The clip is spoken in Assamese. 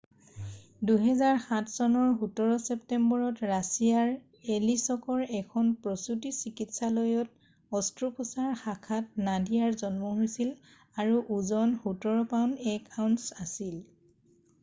2007 চনৰ 17 ছেপ্টেম্বৰত ৰাছিয়াৰ এলিছকৰ এখন প্ৰসুতী চিকিৎসালয়ত অস্ত্ৰোপচাৰ শাখাত নাডিয়াৰ জন্ম হৈছিল আৰু ওজন 17 পাউণ্ড 1 আউন্স আছিল